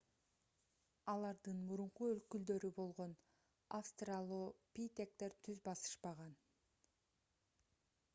алардын мурунку өкүлдөрү болгон австралопитектер түз басышпаган